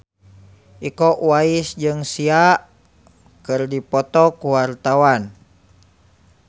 Iko Uwais jeung Sia keur dipoto ku wartawan